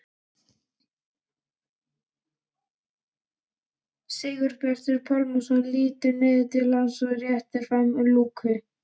Sigurbjartur Pálsson lítur niður til hans og réttir fram lúku.